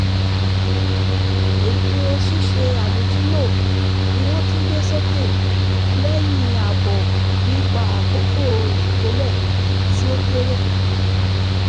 ètò ṣíṣe àlòtúnlò ni wọ́n tún gbé sókè lẹ́yìn àbọ̀ nípa àkókò ìkólẹ̀ tí ó kéré